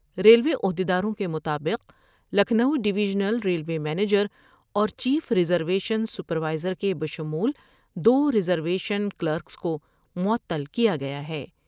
Railway عہد یداروں کے مطابق لکھنوڈیویژنل ریلوے منیجر اور chief reservation supervisor کے بشمول دور ریزرویشن کلکرس کو معطل کیا گیا ہے ۔